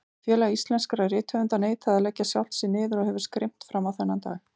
Félag íslenskra rithöfunda neitaði að leggja sjálft sig niður og hefur skrimt frammá þennan dag.